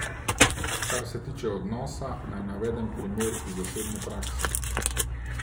Kar se tiče odnosa, naj navedem primer iz osebne prakse.